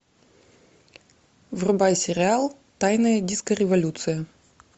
врубай сериал тайная диско революция